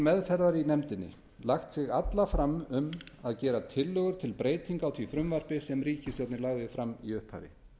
meðferðar í nefndinni lagt sig alla fram um að gera tillögur til breytinga á því frumvarpi sem ríkisstjórnin lagði fram í upphafi